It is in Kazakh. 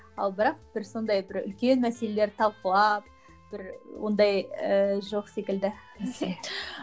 ал бірақ бір сондай бір үлкен мәселелер талқылап бір ондай ыыы жоқ секілді